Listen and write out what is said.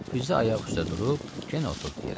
Fizzə ayaq üstə durub, yenə oturdu yerə.